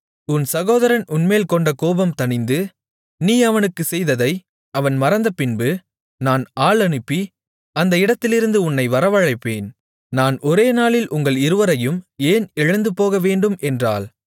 உன் சகோதரன் உன்மேல் கொண்ட கோபம் தணிந்து நீ அவனுக்குச் செய்ததை அவன் மறந்தபின்பு நான் ஆள் அனுப்பி அந்த இடத்திலிருந்து உன்னை வரவழைப்பேன் நான் ஒரே நாளில் உங்கள் இருவரையும் ஏன் இழந்துபோகவேண்டும் என்றாள்